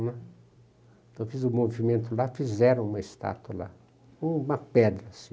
Então fiz o movimento lá, fizeram uma estátua lá, uma pedra assim.